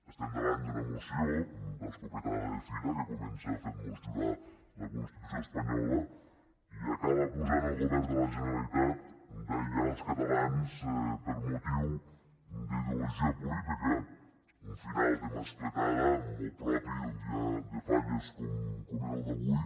estem davant d’una moció d’escopetada de fira que comença fent mos jurar la constitució espanyola i acaba acusant el govern de la generalitat d’aïllar els catalans per motiu d’ideologia política un final de mascletada molt propi d’un dia de falles com és el d’avui